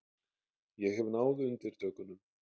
Ég hef náð undirtökunum.